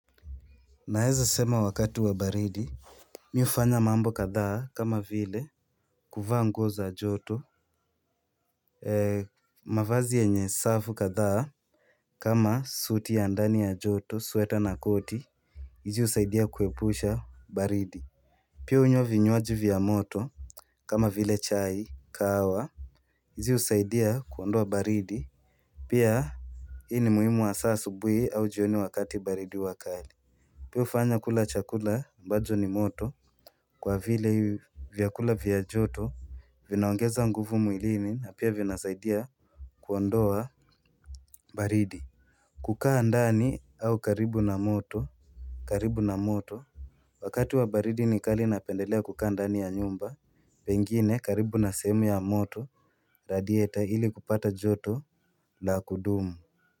Naweza sema wakati wa baridi Mimi hufanya mambo kadha kama vile kuvaa nguo za joto mavazi yenye safu kadha kama suti ya ndani ya joto, sweta na koti hizi husaidia kuepusha baridi Pia hunywa vinywaji vya moto kama vile chai, kahawa hizi usaidia kuondoa baridi Pia Hii ni muhimu hasa asubuhi au jioni wakati baridi wa kali Pia hufanya kula chakula ambacho ni moto Kwa vile vyakula vya joto Vinaongeza nguvu mwilini na pia vinasaidia kuondoa baridi kukaa ndani au karibu na moto karibu na moto Wakati wa baridi ni kali napendelea kukaa ndani ya nyumba Pengine karibu na sehemu ya moto Radieta hili kupata joto la kudumu.